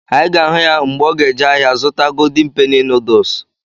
Anyị ga-ahụ ya mgbe ọ ga eje ahịa zụta ‘Golden penny noodles’